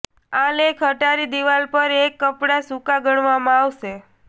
આ લેખ અટારી દિવાલ પર એક કપડાં સુકાં ગણવામાં આવશે